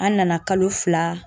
An nana kalo fila